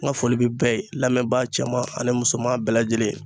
N ka foli bɛ bɛɛ ye lamɛnbaa cɛman ani musoman bɛɛ lajɛlen.